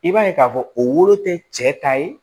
I b'a ye k'a fɔ o wolo tɛ cɛ ta ye